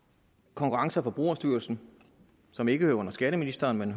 konkurrence og forbrugerstyrelsen som ikke hører under skatteministeren men